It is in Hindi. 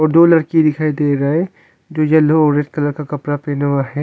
दो लड़की दिखाई दे रही हैं जो यलो और रेड कलर का कपड़ा पहने पहना हुए है।